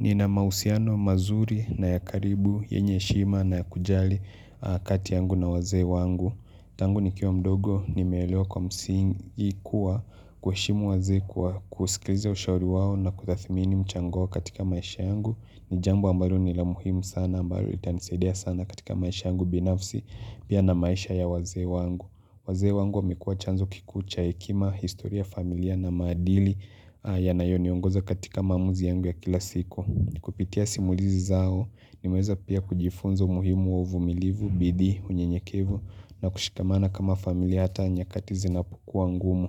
Nina mahusiano mazuri nayakaribu, yenye heshima nayakujali kati yangu na wazee wangu. Tangu nikiwa mdogo nilelewa kwa msingi kuwa kuheshimu wazee kwa kusikiliza ushauri wao na kutathimini mchango katika maisha yangu. Nijambo ambalo nila muhimu sana ambalo litanisadia sana katika maisha yangu binafsi pia na maisha ya wazee wangu. Wazee wangu wamekua chanzo kikuu cha hekima historia familia na maadili yanayoniongoza katika maamuzi yangu ya kila siku. Ni kupitia simulizi zao nimeweza pia kujifunza umuhimu wa uvumilivu, bidii, unyenyekevu na kushikamana kama familia hata nyakati zinapo kuwa ngumu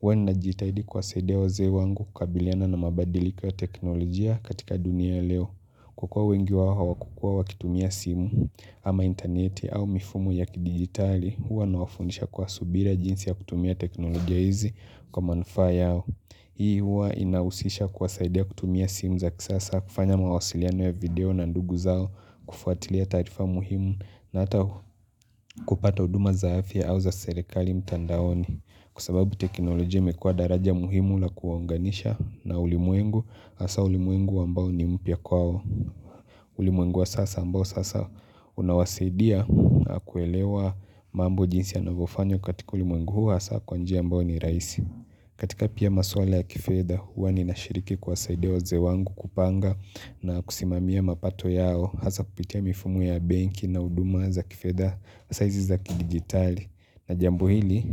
HHwa ninajitahidi kuwasaidia wazee wangu kukabiliana na mabadilika ya teknolojia katika dunia ya leo Kwa kua wengi wao hawakukua wakitumia simu ama interneti au mifumo ya kidigitali Huwa nawafundisha kwa subira jinsi ya kutumia teknolojia hizi kwa manufaa yao Hii huwa inahusisha kuwasaidia kutumia simu za kisasa kufanya mawasiliano ya video na ndugu zao kufuatilia taarifa muhimu na ata kupata huduma za afya ua za serikali mtandaoni Kwa sababu teknolojia imekua daraja muhimu la kuwaunganisha na ulimwengu hasa ulimwengu ambao ni mpya kwao ulimwengu wa sasa ambao sasa unawasidia kuelewa mambo jinsi ya navyofanywa katika ulimwengu huu hasa kwanjia ambayo ni rahisi katika pia maswala ya kifedha hua ninashiriki kuwasaidia wazee wangu kupanga na kusimamia mapato yao Hasa kupitia mifumo ya benki na huduma za kifedha hasa hizi za kidigitali na jambo hili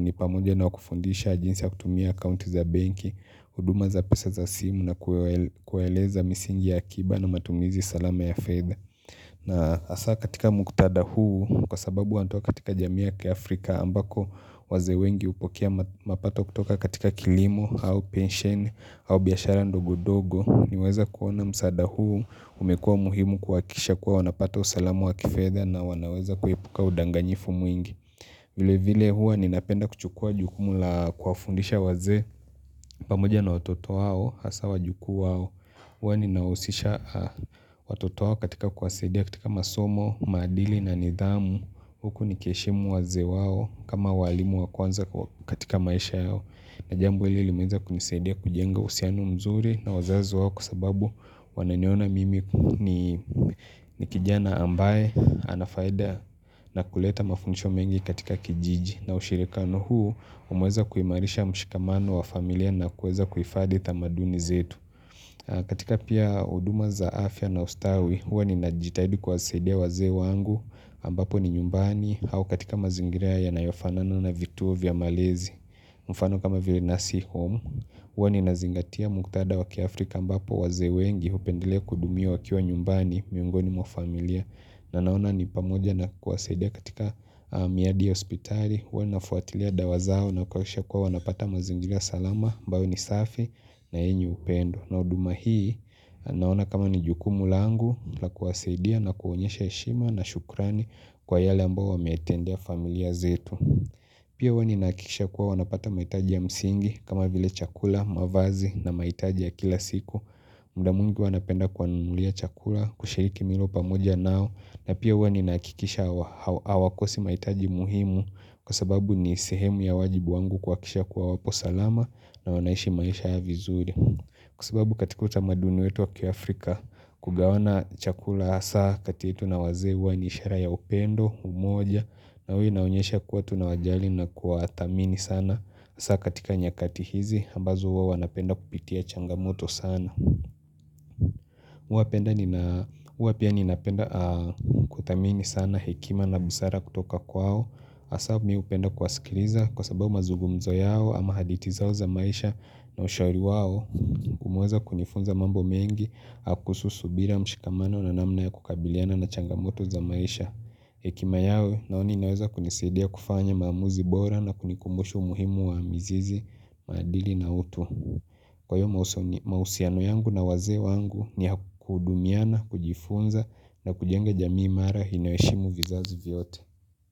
nipamoja na wakufundisha jinsi ya kutumia account za benki huduma za pesa za simu na kuwaeleza misingi ya kiba na matumizi salama ya fedha na hasa katika mktadha huu kwa sababu wanatoka katika jamii ya kiafrika ambako wazee wengi hupokea mapato kutoka katika kilimo au pensheni au biashara ndogo ndogo niweza kuona msaada huu umekua muhimu kuhakikisha kuwa wanapata usalamu wa kifedha na wanaweza kuepuka udanganyifu mwingi vile vile hua ninapenda kuchukua jukumu la kuwafundisha wazee pamoja na watoto wao hasa wajukuu wao Huwa ninawahusisha watoto wao katika kuwasaidia katika masomo, maadili na nidhamu Huku ni kiheshimu wazee wao kama walimu wakwanza katika maisha yao na jambo hili limeweza kunisaidia kujenga uhusiano mzuri na wazazi wao Kwa sababu wananiona mimi ni kijana ambaye anafaida na kuleta mafundisho mengi katika kijiji na ushirikiano huu umeweza kuimarisha mshikamano wa familia na kuweza kuhifadhi tamaduni zetu katika pia huduma za afya na ustawi, hua ninajitahidi kuwasaidia wazee wangu ambapo ni nyumbani au katika mazingira yanayofanana na vituo vya malezi mfano kama vile nursing home huwa ninazingatia mktadha wa kiAfrika ambapo wazee wengi hupendelea kuhudumiwa wakiwa nyumbani miongoni mwa familia na naona ni pamoja na kuwasaidia katika miadi ya hospitali huwa ninafuatilia dawa zao na kuhakikisha kua wanapata mazingira salama ambayo ni safi na yenye upendo na huduma hii naona kama ni jukumu langu la kuwasadia na kuonyesha heshima na shukrani kwa yale ambao wameetendea familia zetu Pia hua ninakikisha kuwa wanapata mahitaji ya msingi kama vile chakula, mavazi na mahitaji ya kila siku muda mwingi huwa napenda kuwanunulia chakula kushiriki milo pamoja nao na pia huwa ninahakikisha hawakosi mahitaji muhimu kwa sababu ni sehemu ya wajibu wangu kuhakikisha kuwa wapo salama na wanaishi maisha vizuri Kwa sababu katika utamaduni wetu wa kiAfrika kugawana chakula hasa kati yetu na wazee huwa ni ishara ya upendo umoja na hua inaonyesha kuwa tunawajali na kuwadhamini sana hasa katika nyakati hizi ambazo huwa wanapenda kupitia changamoto sana Hua penda nina hua pia ninapenda kudhamini sana hekima na busara kutoka kwao hasa mimi hupenda kuwasikiliza kwa sababu mazugumzo yao ama hadithi zao za maisha na ushauri wao umeweza kunifunza mambo mengi kuhusu subira mshikamano na namna ya kukabiliana na changamoto za maisha hekima yao naona inaweza kunisadia kufanya maamuzi bora na kunikumbushu muhimu wa mizizi, maadili na utu Kwahiyo mahusiano yangu na wazee wangu niya kuhudumiana, kujifunza na kujenga jamii mara inaheshimu vizazi vyote.